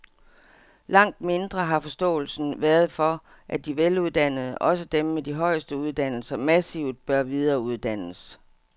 Langt mindre har forståelsen været for, at de veluddannede, også dem med de højeste uddannelser, massivt bør videreuddannes.